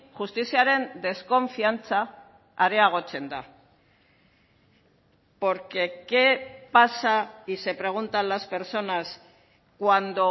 justiziaren deskonfiantza areagotzen da porque qué pasa y se preguntan las personas cuando